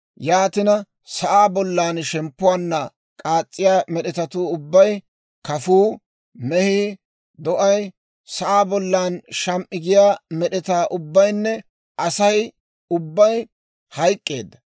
Yaatina sa'aa bollan shemppuwaanna k'aas's'iyaa med'etatuu ubbay: kafuu, mehii, do'ay, sa'aa bollan sham"i giyaa med'etaa ubbaynne Asay ubbay hayk'k'eedda.